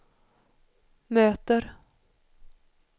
möter